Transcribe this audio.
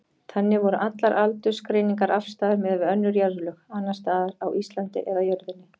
Þannig voru allar aldursgreiningar afstæðar miðað við önnur jarðlög, annars staðar á Íslandi eða jörðinni.